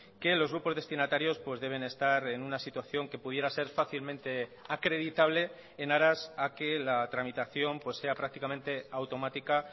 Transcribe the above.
que los grupos destinatarios pues deben estar en una situación que pudiera ser fácilmente acreditable en aras a que la tramitación sea prácticamente automática